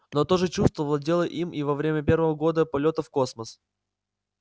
но то же чувство владело им и во время первого года полётов в космос